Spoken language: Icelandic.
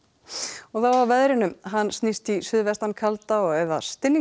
og þá að veðri hann snýst í suðvestan kalda eða